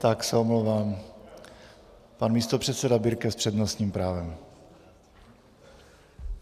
Tak se omlouvám, pan místopředseda Birke s přednostním právem.